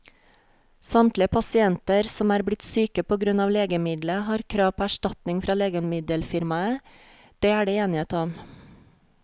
Samtlige pasienter som er blitt syke på grunn av legemiddelet, har krav på erstatning fra legemiddelfirmaet, det er det enighet om.